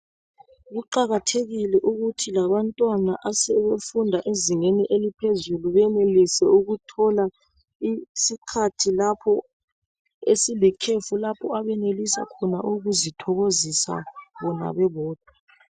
Kuqakathekile ukuthi labantwana asebefunda ezingeni eliphezulu benelise ukuthola isikhathi esilikhefu lapho abenelisa khona ukuzithokozisa bona bebodwa